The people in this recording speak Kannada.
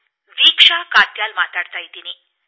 ನಾನು ದೀಕ್ಷಾ ಕಾತ್ಯಾಲ ಮಾತನಾಡುತ್ತಿದ್ದೇನೆ